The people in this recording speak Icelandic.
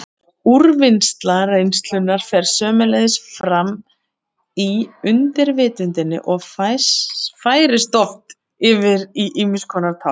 Úrvinnsla reynslunnar fer sömuleiðis fram í undirvitundinni og færist oft yfir í ýmiss konar tákn.